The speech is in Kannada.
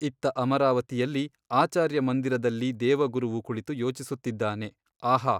ಇತ್ತ ಅಮರಾವತಿಯಲ್ಲಿ ಆಚಾರ್ಯಮಂದಿರದಲ್ಲಿ ದೇವಗುರುವು ಕುಳಿತು ಯೋಚಿಸುತ್ತಿದ್ದಾನೆ ಆಹಾ.